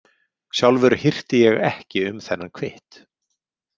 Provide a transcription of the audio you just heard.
Sjálfur hirti ég ekki um þennan kvitt.